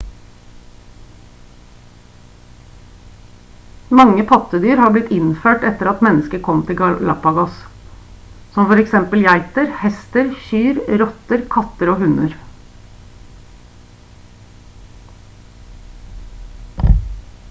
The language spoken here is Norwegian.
mange pattedyr har blitt innført etter at mennesket kom til galapagos som f.eks geiter hester kyr rotter katter og hunder